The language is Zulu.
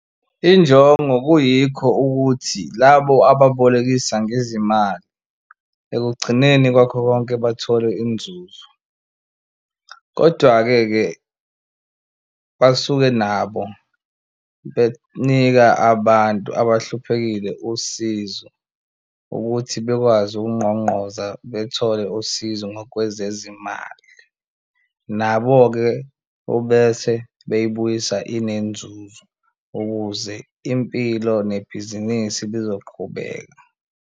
Injongo kuyikho ukuthi labo ababolekisa ngezimali ekugcineni kwakho konke bathole inzuzo, kodwa-ke-ke basuke nabo bekunika abantu abahluphekile usizo ukuthi bekwazi ungqongqoza bethole usizo ngokwezezimali. Nabo-ke obese beyibuyisa inenzuzo ukuze impilo nebhizinisi lizoqhubeka.